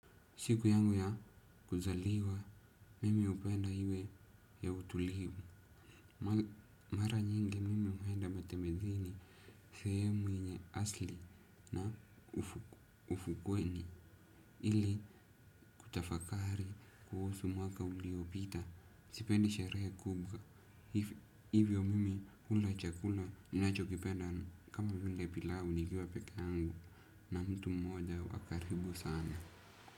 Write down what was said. Siku yangu ya kuzaliwa, mimi hupenda iwe ya utulivu. Mara nyingi mimi huenda matembezini, sehemu yenye asli na ufukweni. Ili kutafakari kuhusu mwaka uliopita. Sipendi sherehe kubwa. Hivyo mimi hula chakula ninachokipenda kama vile pilau nikiwa peke yangu. Na mtu mmoja wa karibu sana.